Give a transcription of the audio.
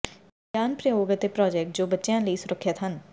ਵਿਗਿਆਨ ਪ੍ਰਯੋਗ ਅਤੇ ਪ੍ਰਾਜੈਕਟ ਜੋ ਕਿ ਬੱਚਿਆਂ ਲਈ ਸੁਰੱਖਿਅਤ ਹਨ